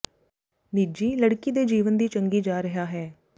ਨਿੱਜੀ ਲੜਕੀ ਦੇ ਜੀਵਨ ਦੀ ਚੰਗੀ ਜਾ ਰਿਹਾ ਹੈ